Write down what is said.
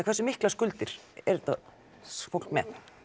hversu miklar skuldir er þetta fólk með